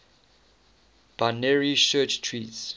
binary search trees